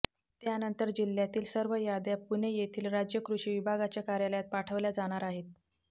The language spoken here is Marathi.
त्यानंतर जिल्ह्यातील सर्व याद्या पुणे येथील राज्य कृषि विभागाच्या कार्यालयात पाठवल्या जाणार आहेत